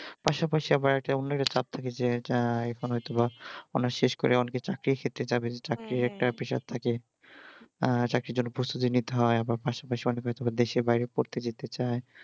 পাশাপাশি আবার একটা অন্য একটা কাজ থাকে যেইটাই কোনো হয়তো বা honours শেষ করে অনেক কে চাকরির ক্ষেত্রে যাবে একটা pressure থাকে আহ চাকরির যেন প্রস্তুতি নিতে হয় বা পাশাপাশি অনেককে হয়তো বা দেশের বাইরে পড়তে যেতে চাই